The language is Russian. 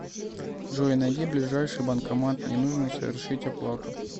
джой найди ближайший банкомат мне нужно совершить оплату